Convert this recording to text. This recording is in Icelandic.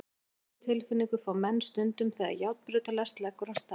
Sömu tilfinningu fá menn stundum þegar járnbrautarlest leggur af stað.